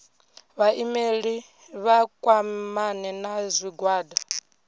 vhaimeleli vha kwamane na zwigwada